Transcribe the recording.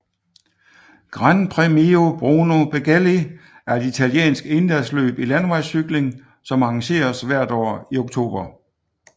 Gran Premio Bruno Beghelli er et italiensk endagsløb i landevejscykling som arrangeres hvert år i oktober